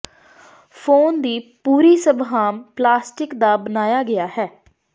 phone ਦੀ ਪੂਰੀ ਸਭ ਆਮ ਪਲਾਸਟਿਕ ਦਾ ਬਣਾਇਆ ਗਿਆ ਹੈ